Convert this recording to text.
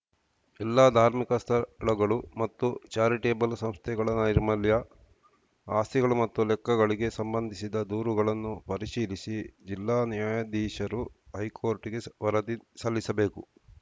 ಎಲ್ಲ ಧಾರ್ಮಿಕ ಸ್ಥಳಗಳು ಮತ್ತು ಚಾರಿಟೇಬಲ್‌ ಸಂಸ್ಥೆಗಳ ನೈರ್ಮಲ್ಯ ಆಸ್ತಿಗಳು ಮತ್ತು ಲೆಕ್ಕಗಳಿಗೆ ಸಂಬಂಧಿಸಿದ ದೂರುಗಳನ್ನು ಪರಿಶೀಲಿಸಿ ಜಿಲ್ಲಾ ನ್ಯಾಯಾಧೀಶರು ಹೈಕೋರ್ಟ್‌ಗೆ ವರದಿ ಸಲ್ಲಿಸಬೇಕು